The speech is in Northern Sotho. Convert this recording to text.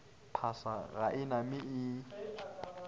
phasa ga e name e